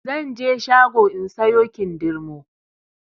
Zanje shago in sayo kindirmo